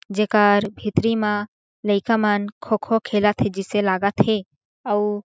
जेकर भीतरी म लइका मन खो-खो खेलत हे जिसे लगत हे अउ--